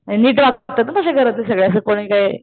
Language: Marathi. हे नीट वागतात तश्या घरातल्या सगळे अशे कोणी काय